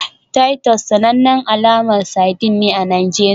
Titus sanannen alamar sardine ne a Najeriya